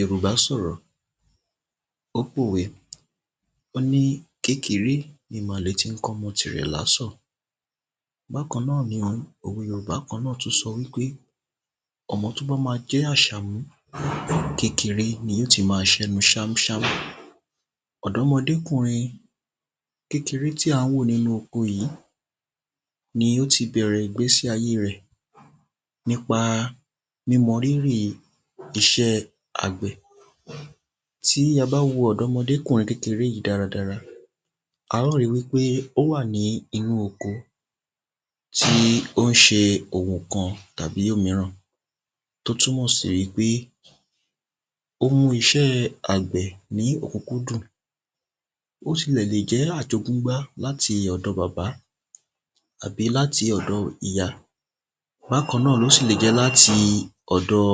Yórùbá sọ̀rọ̀, ó pò we wọ́n ní kékeré ni màlẹ̀ tí n kọ́ ọmọ ti rè lásọ̀ bákan náà ni òwe Yórùbá kan náà tun sọ wípe, ọmọ tí ó bá ma jẹ́ àṣàmú, kékeré ni ó ti ma sẹ ẹnuṣámú ṣámú ọ̀dọ́mọdé kùrin kékeré tí à n wò nínu oko yí, ni ó ti bẹ̀rẹ̀ ìgbésí ayé rẹ̀, nípa mímọ rírì isẹ́ àgbẹ̀ tí a bá wo ọ̀dọ́mọdé kùrin kékeré yìí dáradára, a ó ri wípé ó wà ní inú oko tí ó n se òwò kan tàbí òmíràn tí ó tún mọ̀ sí wípé ó mú isẹ́ àgbẹ̀ ní òkúkúdù, ó sì lè jẹ́ àjogúnbá láti ọ̀dọ̀ bàbá tàbí láti ọ̀dọ ìyá, bákan náà ó sì lè jẹ́ láti ọ̀dọ̀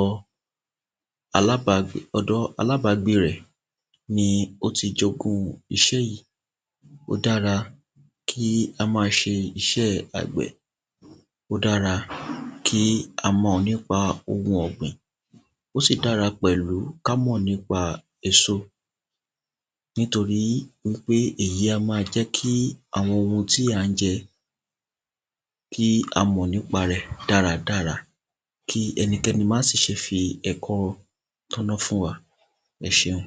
alábǎ ọ̀dọ̀ alábǎgbé rẹ̀ ni ó ti jogún isẹ́ ó dára kí a ma se isẹ́ àgbẹ̀ ó dára kí a mọ̀ nípa oun ọ̀gbìn ó sì dára pẹ̀lú kí á mọ̀ nípa èso nítorí wípé èyí á ma jẹ́ kí àwọn oun tí à n jẹ kí á mọ̀ nípà rẹ̀ dáradára, kí ẹnikẹ́ni má sì se fi ẹ̀kọ́ tọná fún wa ẹseun